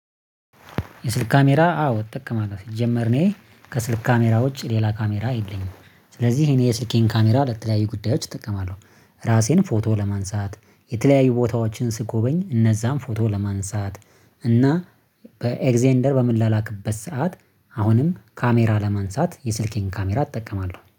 የስልክ ካሜራ አዎ እጠቀማለሁ ሲጀመር እኔ ከስልክ ካሜራ ውጪ ሌላ ካሜራ የለኝም ስለዚህ እኔ የስልኬን ካሜራ ለተለያዩ ጉዳዮች እጠቀማለሁ። ራሴን ፎቶ ለማንሳት የተለያዩ ቦታዎችን ስጎበኝ እነዛን ፎቶ ለማንሳት እና በኤግዜንደር በም ላላክበት ሰዓት አሁንም ካሜራ ለማንሳት የስልኬን ካሜራ እጠቀማለሁ